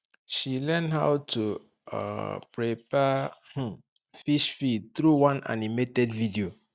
she learn how to um prepare um fish feed through one animated video